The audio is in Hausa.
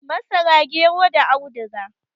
Masara, gero da audiga.